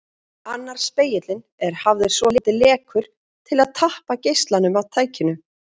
Annar spegillinn er hafður svolítið lekur til að tappa geislanum af tækinu.